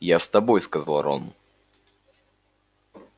я с тобой сказал рон